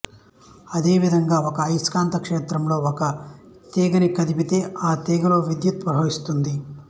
ఇదే విధంగా ఒక అయస్కాంత క్షేత్రంలో ఒక తీగని కదిపితే ఆ తీగలో విద్యుత్తు ప్రవహిస్తుంది